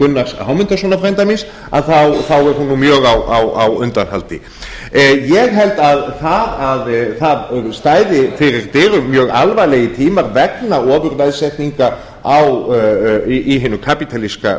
gunnars hámundarsonar frænda míns þá er hún nú mjög á undanhaldi ég hélt að það stæðu fyrir dyrum mjög alvarlegir tímar vegna ofurveðsetningar í hinum kapítalíska